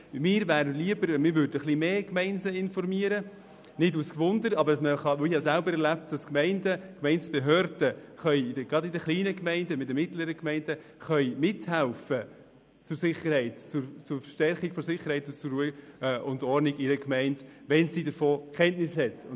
Mir wäre es lieber, wenn die Gemeinden etwas öfter informiert würden – nicht aus Neugierde, aber ich habe selbst erlebt, dass Gemeindebehörden gerade in den kleinen und mittelgrossen Gemeinden bei der Verstärkung der Sicherheit und der Ruhe und Ordnung mithelfen können, wenn sie von Ereignissen Kenntnis haben.